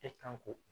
E kan k'o